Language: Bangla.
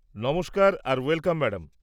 নমস্কার আর ওয়েলকাম ম্যাডাম।